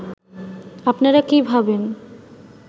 আপনারা কী ভাবেন